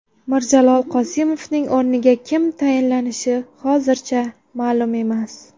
Mirjalol Qosimovning o‘rniga kim tayinlanishi hozircha ma’lum emas.